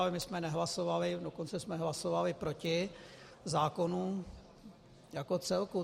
Ale my jsme nehlasovali, dokonce jsme hlasovali proti zákonu jako celku.